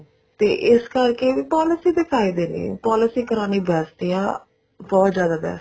ਤੇ ਇਸ ਕਰਕੇ ਵੀ policy ਦੇ ਫਾਇਦੇ ਨੇ policy ਕਰਾਉਣੀ best ਆ ਬਹੁਤ ਜਿਆਦਾ best